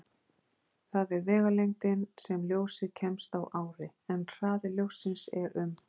Það er vegalengdin sem ljósið kemst á ári, en hraði ljóssins er um